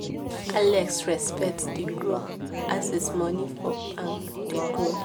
alex respect dey grow as his money for bank dey grow